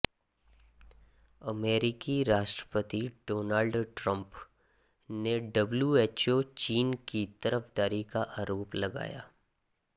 अमेरिकी राष्ट्रपति Donald Trump ने डब्ल्यूएचओ चीन की तरफदारी का आरोप लगाया